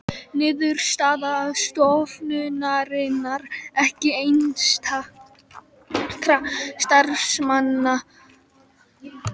Niðurstaða stofnunarinnar ekki einstakra starfsmanna